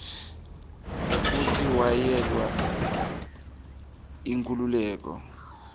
kutsi wayelwela inkhululeko